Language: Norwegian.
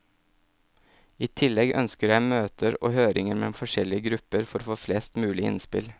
I tillegg ønsker jeg møter og høringer med forskjellige grupper for å få flest mulig innspill.